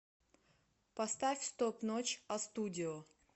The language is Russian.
поставь стоп ночь астудио